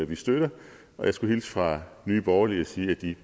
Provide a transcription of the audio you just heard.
vi støtter og jeg skulle hilse fra nye borgerlige og sige at de